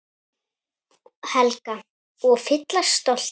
Helga: Og fyllast stolti?